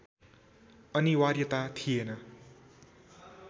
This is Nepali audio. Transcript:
अनिवार्यता थिएन।